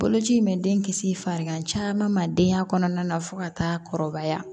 Boloci in bɛ den kisi farigan caman ma denya kɔnɔna na fo ka taa kɔrɔbaya